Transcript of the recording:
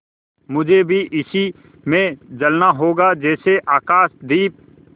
मुझे भी इसी में जलना होगा जैसे आकाशदीप